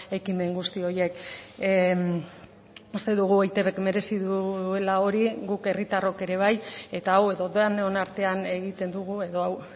ekimen guzti horiek uste dugu eitbk merezi duela hori guk herritarrok ere bai eta hau edo denon artean egiten dugu edo hau